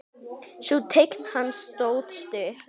Sú tign hans stóð stutt.